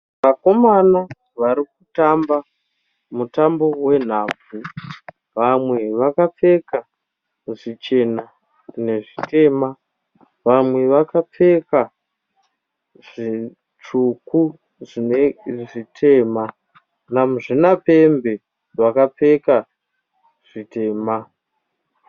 Vakomana vari kutamba mutambo wenhabvu. Vamwe vakapfeka zvichena nezvitema vamwe vakapfeka zvitsvuku zvine zvitema namuzvinapembe wakapfeka zvitema.